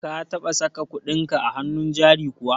ka taba saka kuɗinka a hannun jari kuwa?